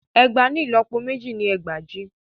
Ẹgbàá ni ìlọ́pọ méjì ni ẹgbàajì.